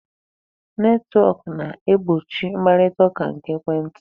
Netwọk na-egbochi mkparitaụka nke ekwentị.